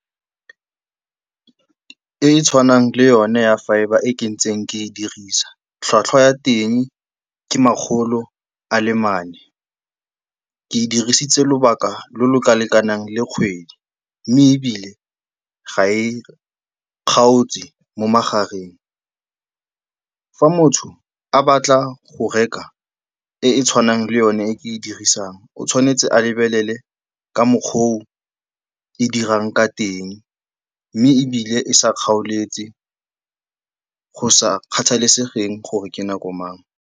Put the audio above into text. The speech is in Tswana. E e tshwanang le yone ya fibre e ke ntseng ke e dirisa, tlhwatlhwa ya teng ke makgolo a le mane. Ke e dirisitse lobaka lo lo ka lekanang le kgwedi mme ebile ga e kgaotse mo magareng. Fa motho a batla go reka e e tshwanang le yone e ke e dirisang, o tshwanetse a lebelele ka mokgwa o e dirang ka teng mme ebile e sa kgaoletse, go sa kgathalesegeng gore ke nako mang.